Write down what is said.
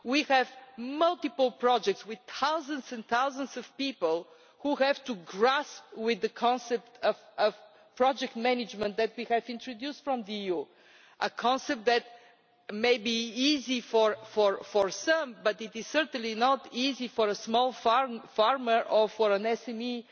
We have multiple projects with thousands and thousands of people who have to grasp the concept of project management that we have introduced from the EU a concept that may be easy for some, but it is certainly not easy for a small farmer or for an SME